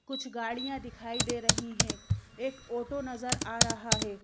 कुछ गाड़ियां दिखाई दे रही हैं एक ऑटो नजर आ रहा है।